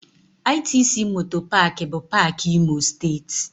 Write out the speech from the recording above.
ITC MOTOR Park bụ paak Imo Steeti